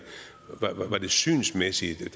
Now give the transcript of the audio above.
synsmæssige det